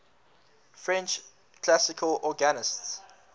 french classical organists